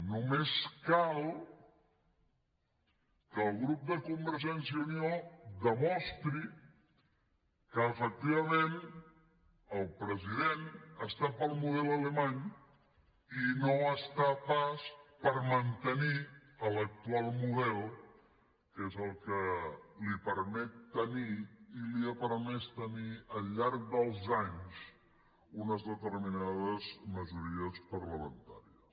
només cal que el grup de convergència i unió demostri que efectivament el president està pel model alemany i no està pas per mantenir l’actual model que és el que li permet tenir i li ha permès tenir al llarg dels anys unes determinades majories parlamentàries